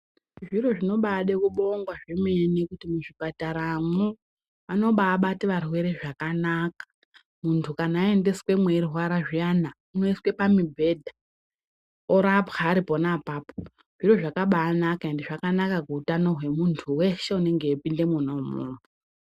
Zviro zvinoda kubabongwa zvemene kuti muzvipataramo mubatwe varwere zvakanaka. Muntu kana aendeswe eyirwarara zvinea unoiswe pamibheda orapwa aripona papapa ,zvinhu zvakabanaka ende zvakanaka muhutano wemuntu weshe enenge echipinda muneimomo.